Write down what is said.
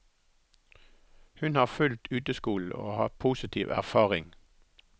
Hun har fulgt uteskolen og har positiv erfaring.